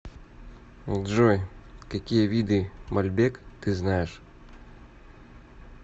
джой какие виды мальбек ты знаешь